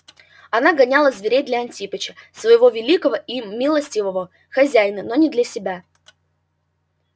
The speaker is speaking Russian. она гоняла зверей для антипыча своего великого и милостивого хозяина но не для себя